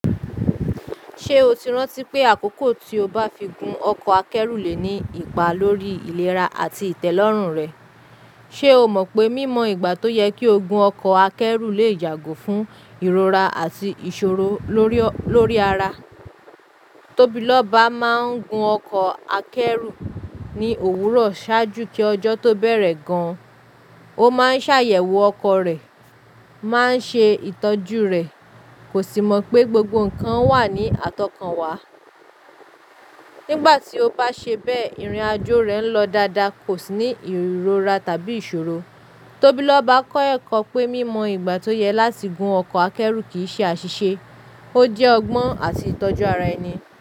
Ṣé o ti rántí pé àkókò tí o bá fi gún ọkọ̀ akẹ́rù lè ní ipa lórí ìlera àti ìtẹ́lọ́rùn rẹ? Ṣé o mọ̀ pé mímọ ìgbà tó yẹ kí o gún ọkọ̀ akẹ́rù lè yàgò fún ìrora àti ìṣòro lórí, lórí ara? Tóbí lọ́ba máa ń gún ọkọ̀ akẹ́rù ní òwúrọ̀ ṣáájú kí ọjọ́ tó bẹ̀rẹ̀ gan an. Ó máa ń ṣàyẹ̀wò ọkọ̀ rẹ̀, máa ń ṣe ìtọ́jú rẹ̀, kò sì mọ̀ pé gbogbo nǹkan wà ní àtọkànwá. Nígbà tí o bá ṣe bẹ́ẹ̀, ìrìn àjò rẹ ń lọ dáadáa, kò sì ní ìrora tàbí ìṣòro. Tóbí lọ́ba kọ́ ẹ̀kọ́ pé mímọ ìgbà tó yẹ láti gún ọkọ̀ akẹ́rù kì í ṣe àṣìṣe, ó jẹ́ ọgbọ́n àti ìtọ́jú ara ẹni.